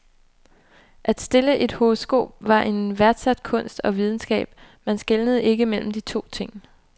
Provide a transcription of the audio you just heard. At stille et horoskop var en værdsat kunst og videnskab, man skelnede ikke mellem de to ting.